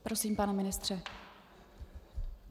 Prosím, pane ministře.